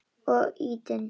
Og ýtinn.